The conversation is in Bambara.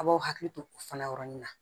A b'aw hakili to fana yɔrɔnin na